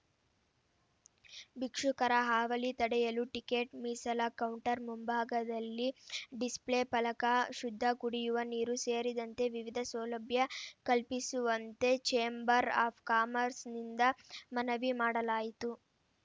ಭಿಕ್ಷುಕರ ಹಾವಳಿ ತಡೆಯಲು ಟಿಕೆಟ್‌ ಮೀಸಲ ಕೌಂಟರ್‌ ಮುಂಭಾಗದಲ್ಲಿ ಡಿಸ್‌ಫ್ಲೇ ಪಲಕ ಶುದ್ಧ ಕುಡಿಯುವ ನೀರು ಸೇರಿದಂತೆ ವಿವಿಧ ಸೌಲಭ್ಯ ಕಲ್ಪಿಸುವಂತೆ ಛೇಂಬರ್‌ ಆಫ್‌ ಕಾಮರ್ಸ್ ನಿಂದ ಮನವಿ ಮಾಡಲಾಯಿತು